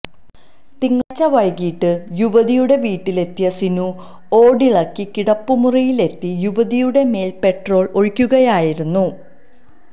തിങ്കളാഴ്ച വൈകിട്ട് യുവതിയുടെ വീട്ടിലെത്തിയ സിനു ഓടിളക്കി കിടപ്പുമുറിയിലെത്തി യുവതിയുടെമേൽ പെട്രോൾ ഒഴിക്കുകയായിരുന്നു